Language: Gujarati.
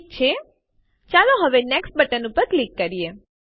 ઠીક છે ચાલો હવે નેક્સ્ટ બટન ઉપર ક્લિક કરીએ